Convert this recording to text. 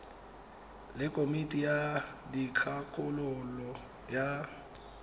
le komiti ya dikgakololo ya